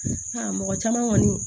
mɔgɔ caman kɔni